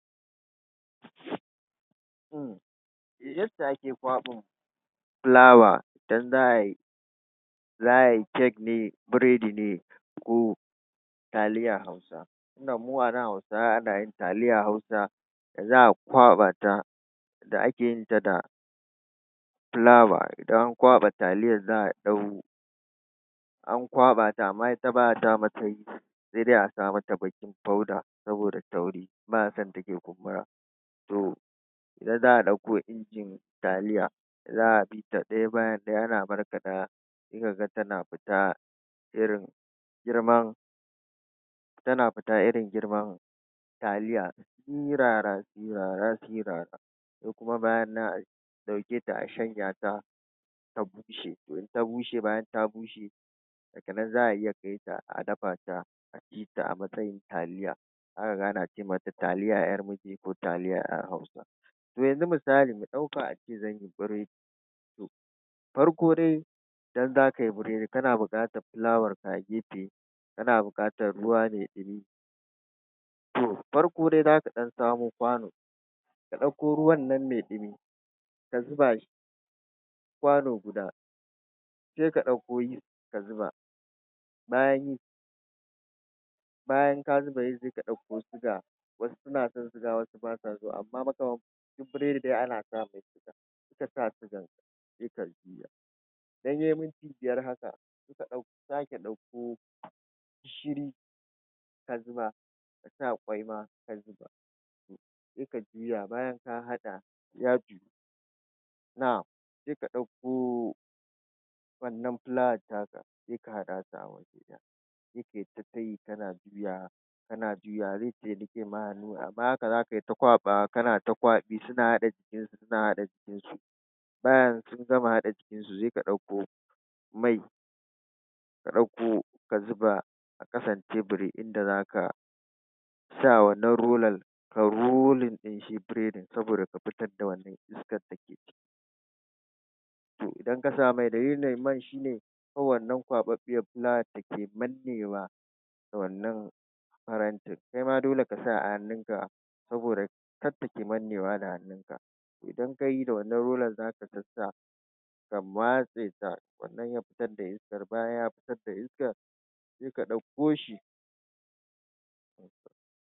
Yadda ake kwaɓin fulawa idan za'ayi cake ne, burodi ne ko taliyan hausa tunda mu a nan hausawa anayin taliyan hausa za'a ƙwaɓa ta da akeyin ta da fulawa idan an kwaɓa taliyar za'a ɗan an kwaɓa ta amma ita ba'a sa mata yeast saidai a sa mata baking powder saboda tauri ba'a sonta ta kumbura. To nan za'a ɗauko injin taliya za'a bita ɗaya bayan ɗaya ana barbaɗa sai kaga tana fita irin girman tana fita irin girman taliya sirara sirara sirara. Sai kuma bayan nan a ɗauketa a shanya ta ta bushe, toh in ta bushe bayan ta bushe daganan za'a iya kaita a dafa ta a ci ta a matsayin taliya. Za kaga ana ce mata taliya yar ko taliyar hausa. To yanzu misali mu ɗauka ace zanyi burodi farko dai idan zakayi burodi kana bukatar fulawar ka a gefe kana bukatar ruwa ma ɗumi toh farko da zaka ɗan samo kwano ka ɗauko ruwannan mai ɗumi ka zuba shi kwano guda sai ka ɗauko yeast ka zuba. Bayan yeast bayan ka zuba yeast sai ka ɗauko sugar wasu suna son sugar wasu basa so amma fa kam duk burodi ana samai sugar, in kasa sugan sai ka idan yayi minti biyar haka ka sake ɗauko gishiri ka zuba kasa ƙwai ma saika juya bayan ka haɗa na'am saika ɗauko wannan fulawar taka saika haɗa su sai kayi tatayi kana juyawa kana juyawa zai fiya riƙe ma hannu amma haka zakayi ta kwaɓawa kana ta kwaɓi suna haɗa jikin su suna haɗa jiki bayan sun gama haɗa jikin su sai ka ɗauko mai ka ɗauko ka zuba ya kasance da inda zaka sa wannan rollan ka rolling ɗin shi burodin saboda ka fitar da wannan To idan kasawa rollan mai shine wannan kwaɓaɓɓiyar fulawan dake mannewa a wannan farantin kaima dole kasa a hannun ka saboda kar take mannewa a hannu idan kayi da wannan rollan zaka ga ka ya matseta sannan ya fitar da iskar. Bayan ya fitar da isakan saika ɗauko shi